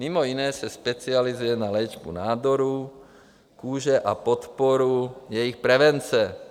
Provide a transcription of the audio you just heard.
Mimo jiné se specializuje na léčbu nádorů kůže a podporu jejich prevence.